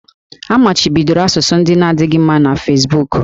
A machibidoro asụsụ ndị na-adịghị mma na Fesbuku